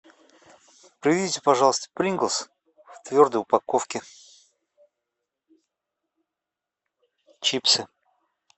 привезите пожалуйста принглс в твердой упаковке чипсы